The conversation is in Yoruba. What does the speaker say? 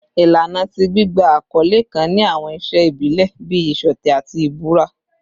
Ilana ti gbigba akọle kan ni awọn iṣe ibile bii iṣọtẹ ati ibura